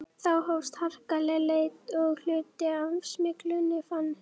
Þá hófst harkaleg leit og hluti af smyglinu fannst.